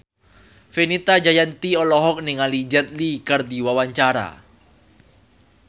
Fenita Jayanti olohok ningali Jet Li keur diwawancara